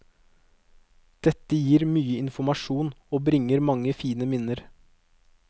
Dette gir mye informasjon og bringer mange fine minner.